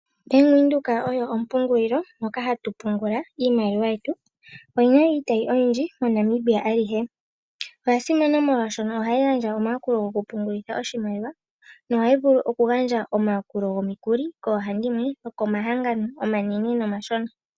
Ombanga yaVenduka oyo ompungulilo moka hatu pungula iimaliwa yetu oyina iitayi oyindji moNamibia ayihe Oyasimana molwaashono ohayi gandja omayakulo gokupungulitha oshimaliwa nohayi vulu okugandja omayakulo gomikuli koohandimwe nokomahangano omashona.